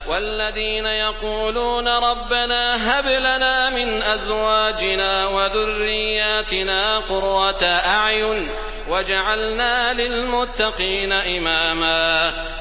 وَالَّذِينَ يَقُولُونَ رَبَّنَا هَبْ لَنَا مِنْ أَزْوَاجِنَا وَذُرِّيَّاتِنَا قُرَّةَ أَعْيُنٍ وَاجْعَلْنَا لِلْمُتَّقِينَ إِمَامًا